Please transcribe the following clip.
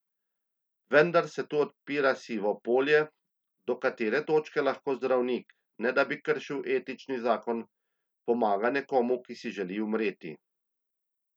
Vendar se tu odpira sivo polje, do katere točke lahko zdravnik, ne da bi kršil etični zakon, pomaga nekomu, ki si želi umreti.